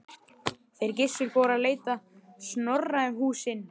Þeir Gissur fóru að leita Snorra um húsin.